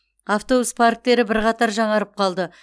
автобус парктері бірқатар жаңарып қалды